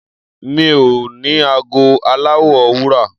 Mi ò ní ago aláwọ̀ wúrà.